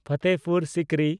Fatehpur Sikri